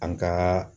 An ka